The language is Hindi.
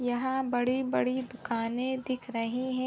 यहाँ बड़ी बड़ी दुकाने दिख रही है।